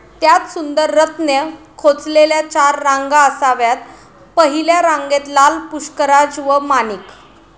त्यात सुंदर रत्ने खोचलेल्या चार रांगा असाव्यात. पहिल्या रांगेत लाल, पुष्कराज व माणिक.